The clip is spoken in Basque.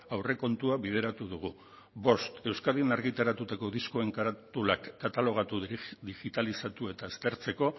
aurrekontua bideratu dugu bost euskadin argitaratutako diskoen karatulak katalogatu digitalizatu eta aztertzeko